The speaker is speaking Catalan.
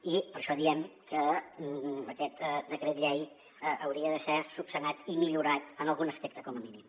i per això diem que aquest decret llei hauria de ser esmenat i millorat en algun aspecte com a mínim